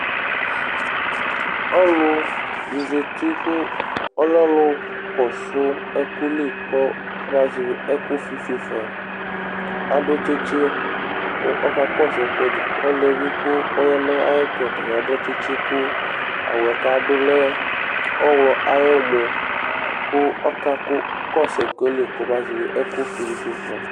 Ɔlɔdɩ zati kʋ ɔlɛ ɔlʋ kɔsʋ ɛkʋ li kɔbazɛvɩ ɛkʋfɩ fue fa Adʋ tsɩtsɩ kʋ ɔkakɔsʋ ɛkʋɛdɩ li Ɔlʋ yɛ bɩ kʋ ɔya nʋ ayɛtʋ yɛ ɔta bɩ adʋ tsɩtsɩ kʋ awʋ yɛ kʋ adʋ lɛ ɔɣlɔ ayʋ ɔmɔ kʋ ɔkakɔsʋ ɛkʋ yɛ li kɔbazɛvɩ ɛkʋfɩ dɩ fue fa